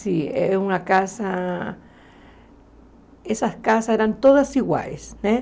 Sim, é uma casa... Essas casas eram todas iguais, né?